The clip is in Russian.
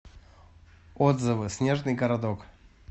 отзывы снежный городок